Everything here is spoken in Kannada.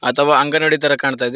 ಅಥವಾ ಅಂಗನಾಡಿ ತರ ಕಾಣ್ತಾ ಇದೆ.